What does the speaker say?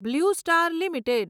blue Star limited